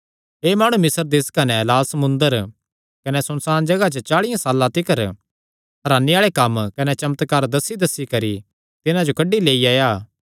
एह़ माणु मिस्र देस कने लाल समुंदर कने सुनसाण जगाह च चाल़ियां साल्लां तिकर हरानी आल़े कम्म कने चमत्कार दस्सीदस्सी करी तिन्हां जो कड्डी लेई आया